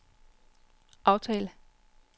aftal